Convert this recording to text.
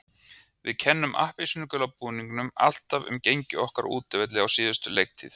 Við kennum appelsínugula búningnum alltaf um gengi okkar á útivelli á síðustu leiktíð.